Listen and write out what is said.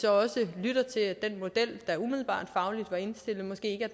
også lyttet til at den model der umiddelbart fagligt var indstillet måske ikke